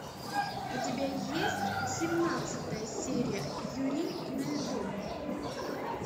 у тебя есть семнадцатая серия юри на льду